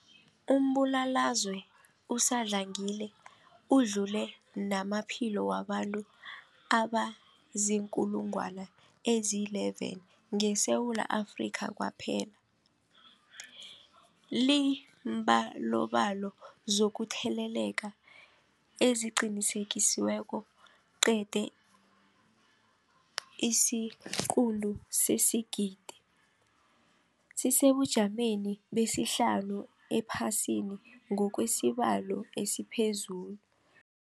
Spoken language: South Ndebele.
Umbulalazwe usadlangile udlule namaphilo wabantu abaziinkulungwana ezi-11 ngeSewula Afrika kwaphela. Iimbalobalo zokutheleleka eziqinisekisiweko zeqe isiquntu sesigidi, sisesebujameni besihlanu ephasini ngokwesibalo esiphezulu.